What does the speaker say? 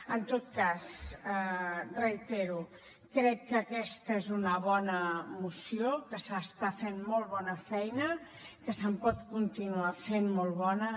en tot cas ho reitero crec que aquesta és una bona moció que s’està fent molt bona feina que se’n pot continuar fent de molt bona